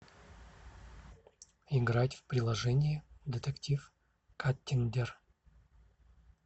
играть в приложение детектив каттиндер